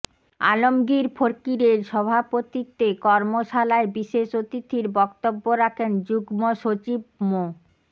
আলমগীর ফকিরের সভাপতিত্বে কর্মশালায় বিশেষ অতিথির বক্তব্য রাখেন যুগ্ম সচিব মো